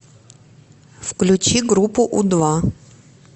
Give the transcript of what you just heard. включи группу у два